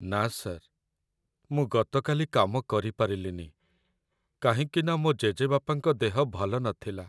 ନା ସାର୍, ମୁଁ ଗତକାଲି କାମ କରିପାରିଲିନି କାହିଁକିନା ମୋ' ଜେଜେବାପାଙ୍କ ଦେହ ଭଲନଥିଲା ।